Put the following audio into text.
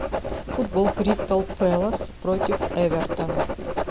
футбол кристал пэлас против эвертона